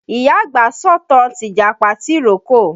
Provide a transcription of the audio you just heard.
Ìyá àgbà ń sọ̀tàn tìjàpá tìrókò.